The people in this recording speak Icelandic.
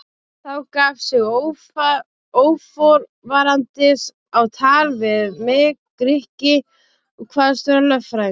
Þá gaf sig óforvarandis á tal við mig Grikki og kvaðst vera lögfræðingur.